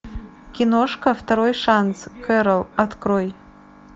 киношка второй шанс кэрол открой